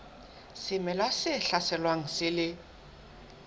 semela se hlaselwang se le